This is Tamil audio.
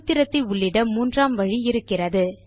சூத்திரத்தை உள்ளிட மூன்றாம் வழி இருக்கிறது